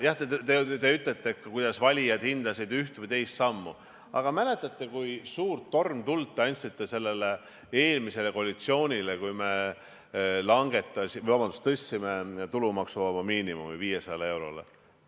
Jah, te ütlete, kuidas valijad hindasid ühte või teist sammu, aga kas mäletate, kui suurt turmtuld te andsite eelmisele koalitsioonile, kui me tõstsime tulumaksuvaba miinimumi 500 eurole?